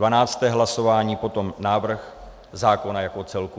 Dvanácté hlasování potom návrh zákona jako celku.